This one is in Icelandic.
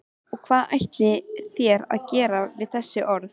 Og hvað ætlið þér að gera við þessi orð?